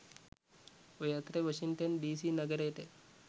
ඔය අතරේ Washington D C නගරයට